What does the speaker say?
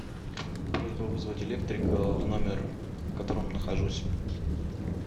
просьба вызвать электрика в номер в котором нахожусь